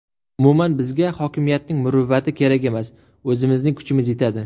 Umuman, bizga hokimiyatning muruvvati kerak emas, o‘zimizning kuchimiz yetadi.